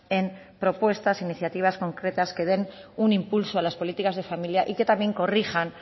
en propuestas iniciativas concretas que den un impulso a las políticas de familia y que también corrijan